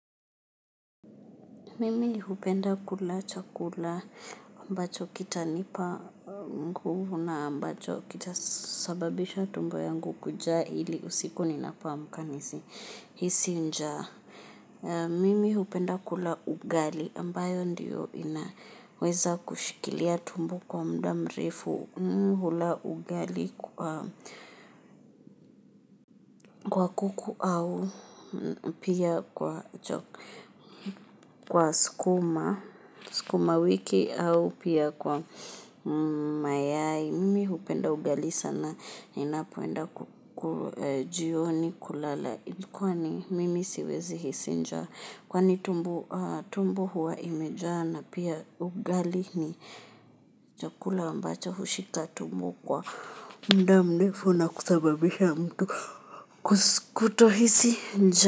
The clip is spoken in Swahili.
Mimi hupenda kula chakula ambacho kitanipa nguvu na ambacho kitasababisha tumbo yangu kujaa ili usiku ninapo amka nisihisi njaa. Mimi hupenda kula ugali ambayo ndio inaweza kushikilia tumbo kwa muda mrefu hula ugali kwa kuku au pia kwa chokwa. Kwa sukuma wiki au pia kwa mayai mimi hupenda ugali sana inapoenda jioni kulala kwani mimi siwezi hisi njaa kwani tumbo huwa imejaa na pia ugali ni chakula ambacho hushika tumbo kwa muda mrefu na kusababisha mtu kutohisi njaa.